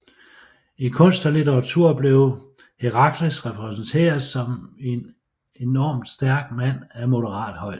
I kunst og litteratur blev Herakles repræsenteret som en enormt stærk mand af moderat højde